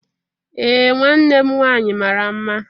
Ee nwanne m nwanyi mara mma.